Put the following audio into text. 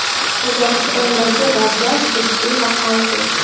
Qozog‘istondagi vaziyat jiddiy va qaltis.